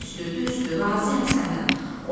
Düzdür, düzdür, razıyam səndən.